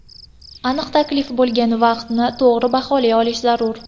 Aniq taklif bo‘lgan vaqtni to‘g‘ri baholay olish zarur.